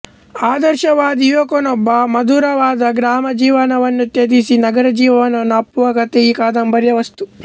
ಆದರ್ಶವಾದಿ ಯುವಕನೊಬ್ಬ ಮಧುರವಾದ ಗ್ರಾಮ ಜೀವನವನ್ನು ತ್ಯಜಿಸಿ ನಗರಜೀವನವನ್ನು ಅಪ್ಪುವ ಕಥೆ ಈ ಕಾದಂಬರಿಯ ವಸ್ತು